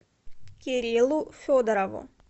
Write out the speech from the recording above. кириллу федорову